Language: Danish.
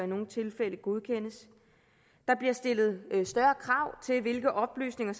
nogle tilfælde godkendes der bliver stillet større krav til hvilke oplysninger